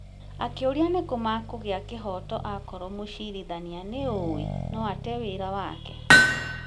Akĩũria, nĩkũ makũgĩa kĩhooto akorũo mũcirithania nĩũũĩ atĩ no ate wĩra wake?